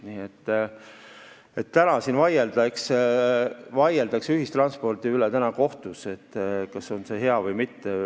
Nii et täna vaieldakse ühistranspordi üle kohtus, kas on see hea või mitte.